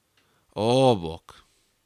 O, bog!